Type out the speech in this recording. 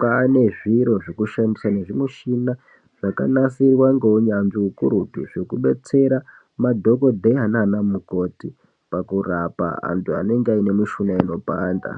kwane zviro zvekushandiswa nezvimuchina zvakanasirwa ngeunyanzvi ukurutu zvekudetsera madhokodheya nana mukoti pakurapa antu anenge ane mishuna inopanda.